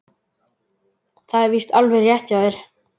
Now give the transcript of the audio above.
Það er víst alveg rétt hjá þér!